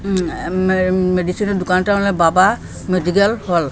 উম মে মেডিসিনের দুকানটা হলো বাবা মেডিকেল হল ।